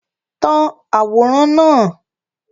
Tan àwòrán náà!